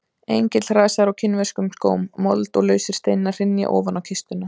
Engill hrasar á kínverskum skóm, mold og lausir steinar hrynja ofan á kistuna.